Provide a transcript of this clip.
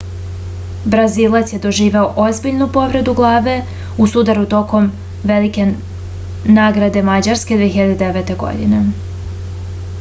brazilac je doživeo ozbiljnu povredu glave u sudaru tokom velike nagrade mađarske 2009. godine